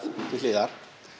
til hliðar